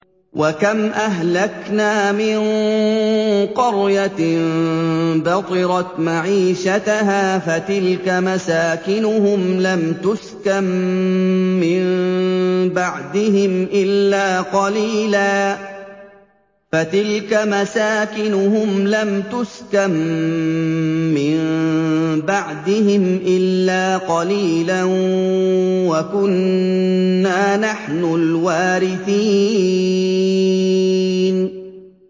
وَكَمْ أَهْلَكْنَا مِن قَرْيَةٍ بَطِرَتْ مَعِيشَتَهَا ۖ فَتِلْكَ مَسَاكِنُهُمْ لَمْ تُسْكَن مِّن بَعْدِهِمْ إِلَّا قَلِيلًا ۖ وَكُنَّا نَحْنُ الْوَارِثِينَ